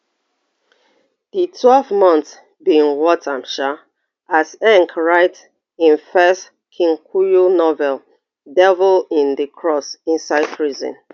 di twelve months bin worth am sha as write im first kikuyu novel devil in di cross inside prison